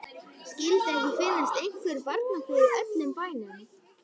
Skyldi ekki finnast einhver barnapía í öllum bænum.